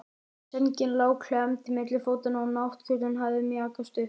Sængin lá klemmd milli fótanna og náttkjóllinn hafði mjakast upp.